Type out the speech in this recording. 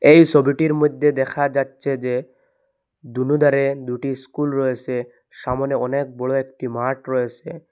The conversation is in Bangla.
এই সবিটির মধ্যে দেখা যাচ্ছে যে দুনো ধারে দুটি স্কুল রয়েসে সামনে অনেক বড় একটি মাঠ রয়েসে।